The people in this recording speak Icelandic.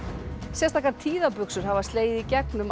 sérstakar hafa slegið í gegn um